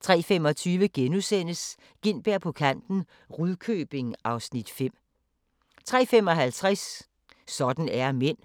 03:25: Gintberg på kanten – Rudkøbing (Afs. 5)* 03:55: Sådan er mænd